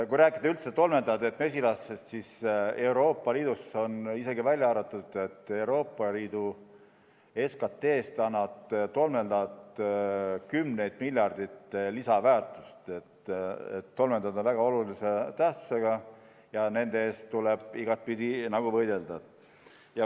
Kui rääkida üldse tolmeldajatest mesilastest, siis Euroopa Liidus on isegi välja arvutatud, et Euroopa Liidu SKT-sse annavad tolmeldajad kümneid miljardeid lisaväärtust, tolmeldajad on väga olulise tähtsusega ja nende eest tuleb igapidi võidelda.